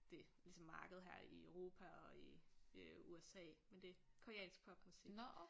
Det ligesom marked her i Europa og i øh USA men det koreansk popmusik